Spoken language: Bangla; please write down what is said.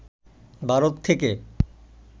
ভারত থেকে